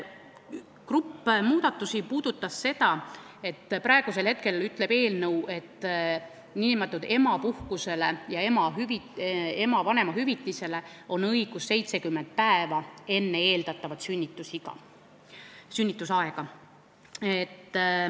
Grupp muudatusi puudutab seda, et praegu ütleb eelnõu, et nn emapuhkust ja ema vanemahüvitist on õigus saada 70 päeva enne eeldatavat sünnitusaega.